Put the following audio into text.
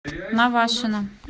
навашино